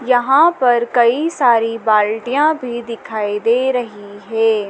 यहां पर कई सारी बाल्टियां भी दिखाई दे रही है।